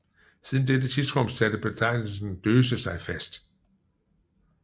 Siden dette tidsrum satte betegnelsen Döse sig fast